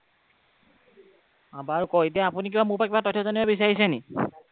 বাৰু কওঁক আপুনি এতিয়া মোৰ পৰা কিবা তথ্য জানিব বিচাৰিছে নেকি?